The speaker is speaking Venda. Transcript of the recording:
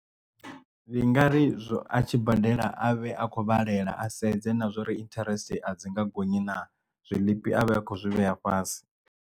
Ndi nga ri izwo a tshi badela a vhe a khou balelwa a sedze na zwori interest a dzi nga gonyi na zwiḽipi avhe akho zwi vhea fhasi.